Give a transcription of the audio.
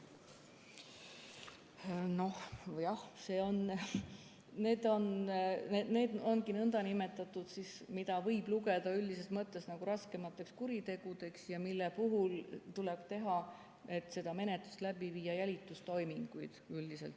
Hea ettekandja!